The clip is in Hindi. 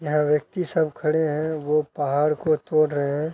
यह व्यक्ति सब खड़े हैं वो पाहड़ को तोड़ रहे हैं।